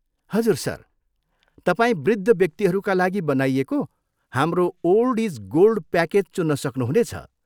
हजुर सर। तपाईँ वृद्ध व्यक्तिहरूका लागि बनाइएको हाम्रो 'ओल्ड इज गोल्ड' प्याकेज चुन्न सक्नुहुनेछ।